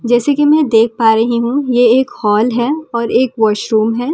जैसे कि मैं देख पा रही हूं ये एक हाॅल है और एक बाॅशरूम है हॉल में--